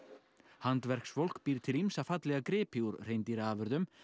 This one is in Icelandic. handverksfólk býr til ýmsa fallega gripi úr hreindýraafurðum